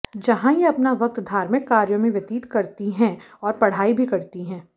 जहां ये अपना वक्त धार्मिक कार्यो में व्यतीत करती है और पढ़ाई भी करती है